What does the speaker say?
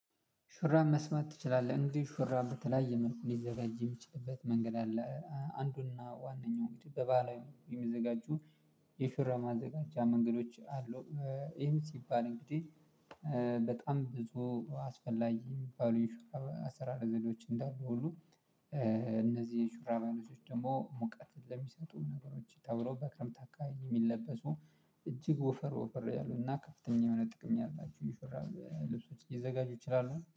ሹራብ መስፋት ትችላለህ? እንግዲህ ሹራብ በተለያየ መልኩ ሊዘረጅ የሚችልበት መንገድ አለ አንዱና ዋናው እንግዲህ በባለሙያ የሚዘጋጁ የሹራብ ማዘጋጃ መንገዶች አሉ። ይሄም ሲባል እንግዲህ በጣም ብዙ አስፈላጊ የሚባሉ የሹራብ አሰራር ዘዴዎች እንዳሉ ሁሉ። የሹራብ አይነቶች ደግሞ ሙቀት ለሚሰጡ ነገሮች ተብሎ በክረምት አካባቢ የሚለበሱ እጅግ ወፈር ወፈር ያሉ እና ከፍተኛ የሆነ ጥቅም ያላችሁ የሹራብ ልብሶች ሊዘጋጁ ይችላሉ